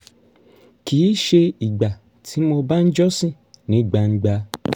kì í ṣe ìgbà tí mo bá ń jọ́sìn ní gbangba